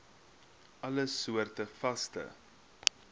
alle soorte vaste